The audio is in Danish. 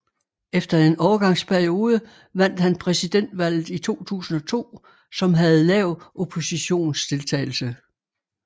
Efter en overgangsperiode vandt han præsidentvalget i 2002 som havde lav oppositionsdeltagelse